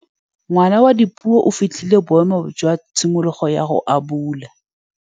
Ngwana wa Dipuo o fitlhile boêmô jwa tshimologô ya go abula.